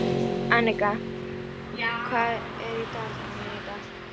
Annika, hvað er í dagatalinu mínu í dag?